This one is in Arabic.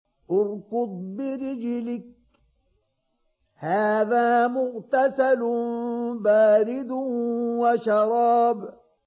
ارْكُضْ بِرِجْلِكَ ۖ هَٰذَا مُغْتَسَلٌ بَارِدٌ وَشَرَابٌ